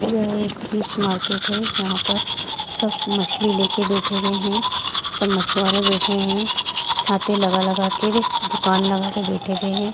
यह एक fish market है यहाँ पर सब मछली लेकर बैठे हुए है सब मछुआरे बैठे है छाते लगा लगा के दूकान लगा के बैठे हुए है।